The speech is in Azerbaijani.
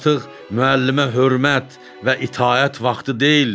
Artıq müəllimə hörmət və itaət vaxtı deyildi.